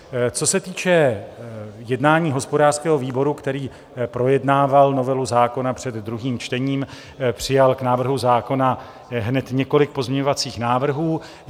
Co se týče jednání hospodářského výboru, který projednával novelu zákona před druhým čtením, přijal k návrhu zákona hned několik pozměňovacích návrhů.